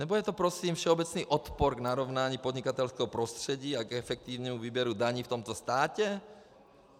Nebo je to prosím všeobecný odpor k narovnání podnikatelského prostředí a k efektivnímu výběru daní v tomto státě?